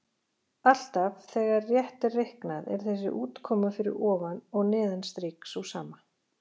Alltaf þegar rétt er reiknað er þessi útkoma fyrir ofan og neðan strik sú sama.